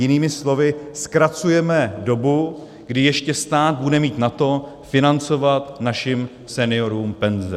Jinými slovy zkracujeme dobu, kdy ještě stát bude mít na to financovat našim seniorům penze.